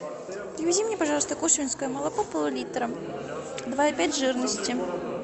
привези мне пожалуйста кушвинское молоко пол литра два и пять жирности